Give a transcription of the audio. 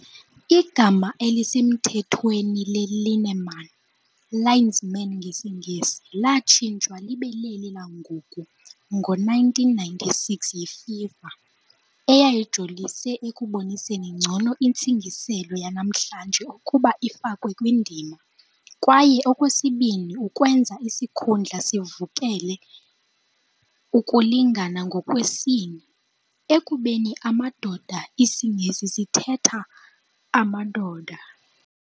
Igama elisemthethweni le-lineman, "linesmen" ngesiNgesi, latshintshwa libe leli langoku ngo -1996 yiFIFA, eyayijolise ekuboniseni ngcono intsingiselo yanamhlanje ukuba ifakwe kwindima, kwaye okwesibini ukwenza isikhundla sivulekele ukulingana ngokwesini, ekubeni "amadoda" IsiNgesi sithetha "amadoda".